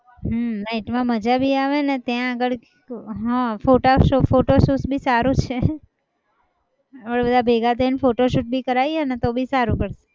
હમ night માં મજા બી આવેને અને ત્યાં આગળ હા photo photoshoot બી સારું છે આપણે બધા ભેગા થઈ ને photoshoot બી કરાઈએ ને તો બી સારું પણ